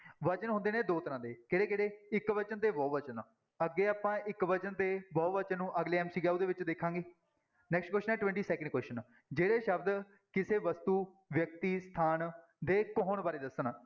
ਵਚਨ ਹੁੰਦੇ ਨੇ ਦੋ ਤਰ੍ਹਾਂ ਦੇ ਕਿਹੜੇ ਕਿਹੜੇ ਇੱਕ ਵਚਨ ਤੇ ਬਹੁ ਵਚਨ, ਅੱਗੇ ਆਪਾਂ ਇੱਕ ਵਚਨ ਤੇ ਬਹੁ ਵਚਨ ਨੂੰ ਅਗਲੇ MCQ ਦੇ ਵਿੱਚ ਦੇਖਾਂਗੇ next question ਹੈ twenty-second question ਜਿਹੜੇ ਸ਼ਬਦ ਕਿਸੇ ਵਸਤੂ, ਵਿਅਕਤੀ, ਸਥਾਨ ਦੇ ਇੱਕ ਹੋਣ ਬਾਰੇ ਦੱਸਣ,